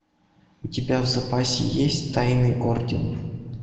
у тебя в запасе есть тайный орден